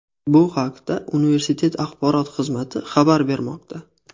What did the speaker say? Bu haqda universitet axborot xizmati xabar bermoqda .